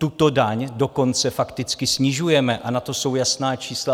Tuto daň dokonce fakticky snižujeme a na to jsou jasná čísla.